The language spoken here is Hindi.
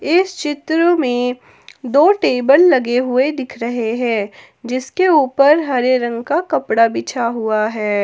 इस चित्र में दो टेबल लगे हुए दिख रहे है जिसके ऊपर हरे रंग का कपड़ा बिछा हुआ है।